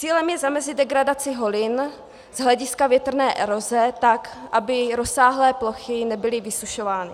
Cílem je zamezit degradaci holin z hlediska větrné eroze, tak aby rozsáhlé plochy nebyly vysušovány.